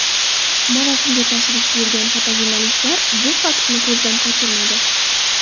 Marosimga tashrif buyurgan fotojurnalistlar bu faktni ko‘zdan qochirmadi.